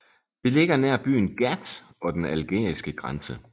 Det ligger nær byen Ghat og den algeriske grænse